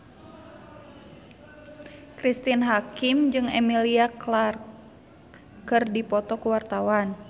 Cristine Hakim jeung Emilia Clarke keur dipoto ku wartawan